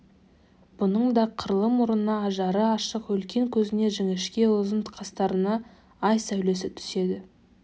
бұның да қырлы мұрнына ажары ашық үлкен көзіне жіңішке ұзын қастарына ай сәулес түседі